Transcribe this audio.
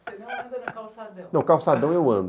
Não, no calçadão eu ando.